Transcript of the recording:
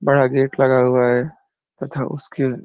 बड़ा गेट लगा हुआ है तथा उसके --